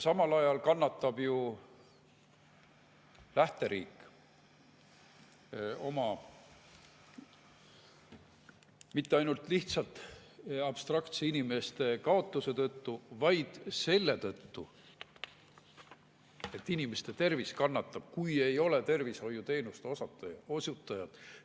Samal ajal kannatab ju lähteriik mitte ainult lihtsalt abstraktsete inimeste kaotuse tõttu, vaid selle tõttu, et inimeste tervis kannatab, kui ei ole tervishoiuteenuste osutajaid.